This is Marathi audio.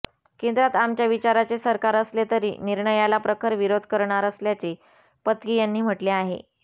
केंद्रात आमच्या विचाराचे सरकार असले तरी निर्णयाला प्रखर विरोध करणार असल्याचे पत्की यांनी म्हटले आहे